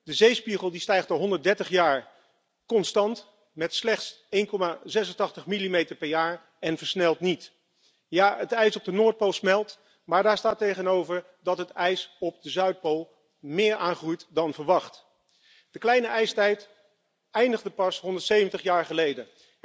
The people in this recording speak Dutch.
De zeespiegel stijgt al 130 jaar constant met slechts 1,86 millimeter per jaar en dit versnelt niet. Ja, het ijs op de Noordpool smelt, maar daar staat tegenover dat het ijs op de Zuidpool meer aangroeit dan verwacht. De kleine ijstijd eindigde pas 170 jaar geleden.